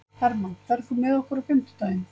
Hermann, ferð þú með okkur á fimmtudaginn?